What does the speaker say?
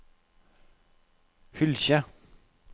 Hylkje